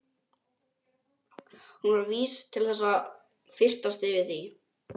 Hún var vís til þess að fyrtast yfir því.